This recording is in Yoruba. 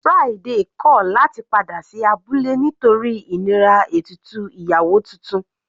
Friday kọ̀ láti padà sí abúlé nítorí ìnira ètùtù ìyàwó titun.